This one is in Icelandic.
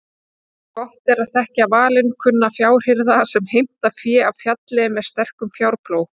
Gott er að þekkja valinkunna fjárhirða sem heimta fé af fjalli með sterkum fjárplóg.